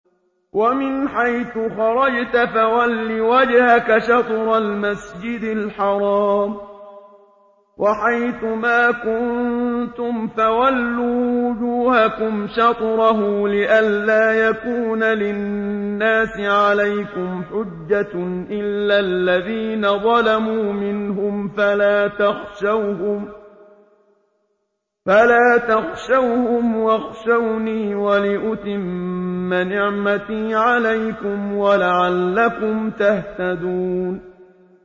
وَمِنْ حَيْثُ خَرَجْتَ فَوَلِّ وَجْهَكَ شَطْرَ الْمَسْجِدِ الْحَرَامِ ۚ وَحَيْثُ مَا كُنتُمْ فَوَلُّوا وُجُوهَكُمْ شَطْرَهُ لِئَلَّا يَكُونَ لِلنَّاسِ عَلَيْكُمْ حُجَّةٌ إِلَّا الَّذِينَ ظَلَمُوا مِنْهُمْ فَلَا تَخْشَوْهُمْ وَاخْشَوْنِي وَلِأُتِمَّ نِعْمَتِي عَلَيْكُمْ وَلَعَلَّكُمْ تَهْتَدُونَ